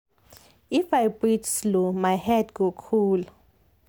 if i breathe slow my head go cool.